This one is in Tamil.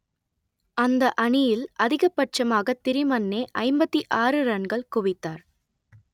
அந்த அணியில் அதிகபட்சமாக திரிமன்னே ஐம்பத்தி ஆறு ரன்கள் குவித்தார்